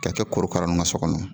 Ka kɛ korokara nun ka so kɔnɔ